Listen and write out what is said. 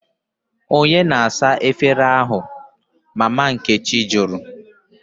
" onye na-asa efere ụnyahụ? Mama nkechi jụrụ.